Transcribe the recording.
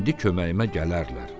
İndi köməyimə gələrlər.